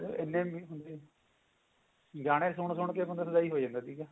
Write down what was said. ਇੰਨੇ ਹੁੰਦੇ ਸੀਗੇ ਗਾਣੇ ਸੁਣ ਸੁਣ ਕੇ ਬੰਦਾ ਹੋ ਜਾਂਦਾ ਸੀਗਾ